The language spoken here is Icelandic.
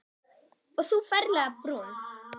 Og þú ferlega brún.